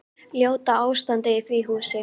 Ljóta ástandið í því húsi.